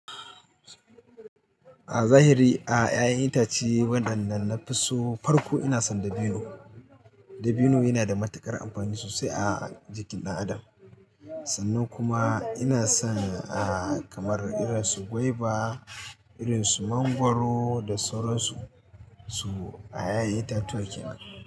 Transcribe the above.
A zahiri a ƴaƴan itace wadannan na fi so farko ina son dabino. Dabino yana da matuƙar amfani sosai a jikin ɗan adam sannan kuma ina son ah kamar irin su gwaiba, irin su mangwaro da sauran su su a ƴaƴan itatuwa kenan.